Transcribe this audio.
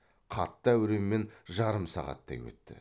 қатты әуремен жарым сағаттай өтті